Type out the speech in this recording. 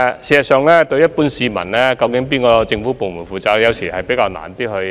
事實上，對於一般市民來說，究竟問題由哪個政府部門負責，有時候難以找到答案。